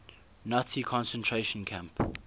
nazi concentration camp